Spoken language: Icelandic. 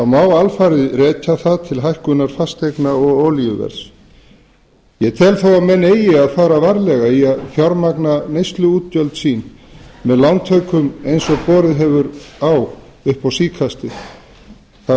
má alfarið rekja það til hækkunar fasteigna og olíuverðs ég tel þó að menn eigi að fara varlega í að fjármagna neysluútgjöld sín með lántökum eins og borið hefur á upp á síðkastið það er